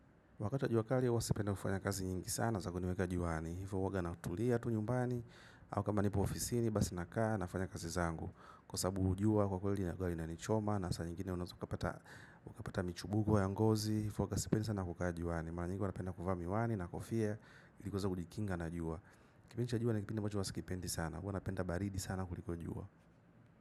Wakati wa jua kali huwa sipendi kufanya kazi nyingi sana za kuniweka juani. Hivo huwanga natulia tu nyumbani. Au kama nipo ofisini basi nakaa, nafanya kazi zangu. Kwa sababu jua kwa kwa kweli linakuwa linanichoma. Na saa nyingine unaeza ukapata michubugwa ya ngozi. Hivyo huwanga sipendi sana kukaa juani. Mara nyingi huwa napenda kuvaa miwani na kofia. Ili kuweza kujikinga na jua. Kipindi cha jua ni kipindi ambacho huwa sikipendi sana. Kwa hiyo napenda baridi sana kuliko jua.